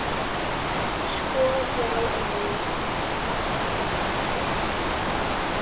Sko, já og nei.